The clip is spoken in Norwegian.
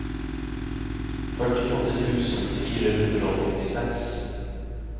førtiåtte tusen fire hundre og åttiseks